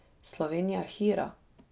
Slovenija hira.